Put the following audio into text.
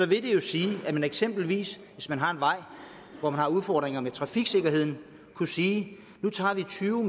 det jo sige at man eksempelvis hvis man har en vej hvor man har udfordringer med trafiksikkerheden kunne sige nu tager vi tyve